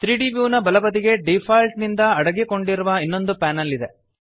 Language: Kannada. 3ದ್ ವ್ಯೂ ನ ಬಲಬದಿಗೆ ಡಿಫಾಲ್ಟ್ ನಿಂದ ಅಡಗಿಕೊಂಡಿರುವ ಇನ್ನೊಂದು ಪ್ಯಾನೆಲ್ ಇದೆ